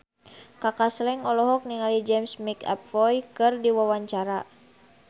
Kaka Slank olohok ningali James McAvoy keur diwawancara